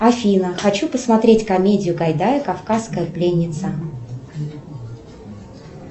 афина хочу посмотреть комедию гайдая кавказская пленница